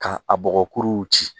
Ka a bɔgɔkuruw ci